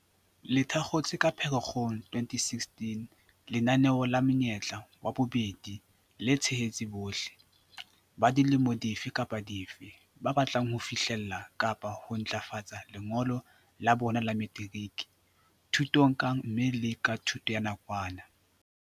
Le thakgotswe ka Phere-kgong 2016, lenaneo la Monyetla wa Bobedi le tshehetsa bohle - ba dilemo dife kapa dife - ba batlang ho fihlella kapa ho ntlafatsa lengolo la bona la materiki, thutong kang mme le ka thuto ya nakwana.